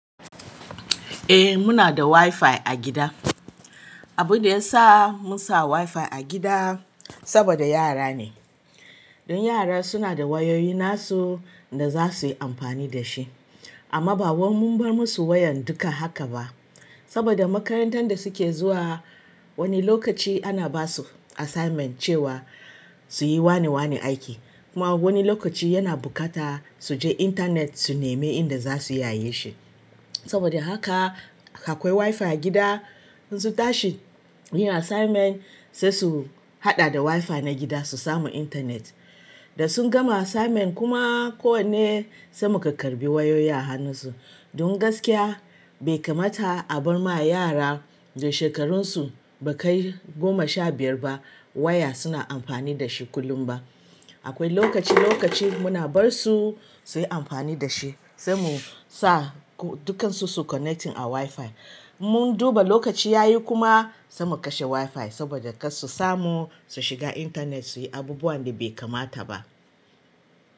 Eh muna da wifi a gida. Abun da ya sa munsa wifi a gida saboda yara ne. Don yara suna da wayoyi nasu da za su yi amfani da shi. Amma ba wan mun bar musu wayan duka haka ba. Saboda makarantar da suke zuwa wani lokaci ana basu assignment cewa suyi wane wane aiki. Kuma wani lokaci yana buƙata suje internet su nemi inda za su iyaye shi. Saboda haka akwai wifi a gida in su tashi yin assignment sai su haɗa da wifi na gida su samu internet. Da sun gama assignment kuma ko wane sai muka karɓi wayoyi a hannun su. Don gaskiya bai kamata a bar ma yara da shekarun su ba kai goma sha biyar ba waya suna amfani da shi kullum ba. Akwai lokaci lokaci muna bar su suyi amfani da shi sai mu sa dukan su su connecting a wifi. Mun duba lokaci yayi kuma sai mu kashe wifi saboda kar su samu su shiga internet suyi abubuwan da bai kamata ba.